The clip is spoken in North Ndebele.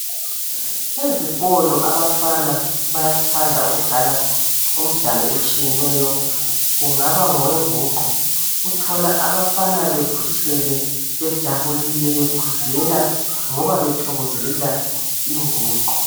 Bezikolo abafana bayathanda ukudlala umdlalo etshiyeneyo kungaba ngowenguqu uthola abafana bekhuthele bejabulile bekhuzela ngoba bethokozela inguqu